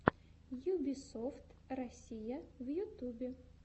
юбисофт россия в ютубе